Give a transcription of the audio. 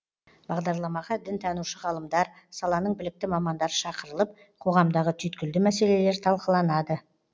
бағдарламаға дінтанушы ғалымдар саланың білікті мамандары шақырылып қоғамдағы түйткілді мәселелер талқыланады